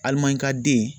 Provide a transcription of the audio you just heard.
Alimani ka den